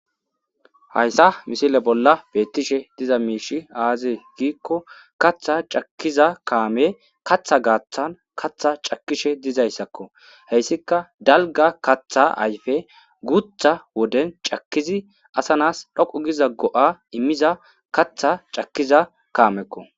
Hassa misile bolla beettishe miishshey aazee giikko kaththa cakkiza kaamey kaththa gaathan kaththa cakkishe dizaysako,hayssika dalga kaththa ayfe guutha woden cakkidi ASA na7as dhoqqa go7a immiza kaththa cakkiza kaamekko.